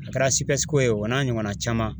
A kɛra sipɛsiko ye o n'a ɲɔgɔnna caman